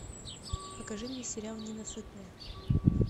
покажи мне сериал ненасытная